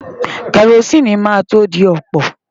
Kẹrosíìnì máa tó dọ̀pọ̀.